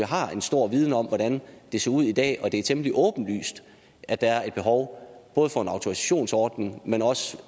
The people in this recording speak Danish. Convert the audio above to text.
har en stor viden om hvordan det ser ud i dag og det er temmelig åbenlyst at der er et behov både for en autorisationsordning men også